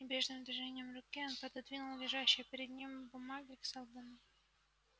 небрежным движением руки он пододвинул лежащие перед ним бумаги к сэлдону